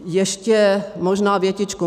Ještě možná větičku.